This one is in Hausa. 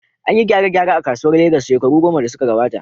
An yi gyare-gyare a kasuwar Legas shekaru goma da suka gabata.